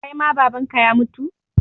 Kai ma Baban ka ya mutu?